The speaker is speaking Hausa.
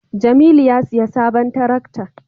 jamilu a siya sabon tarakta